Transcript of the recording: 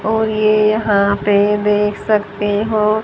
और ये यहां पे देख सकते हो।